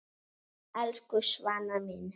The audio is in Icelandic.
Elsku Svana mín.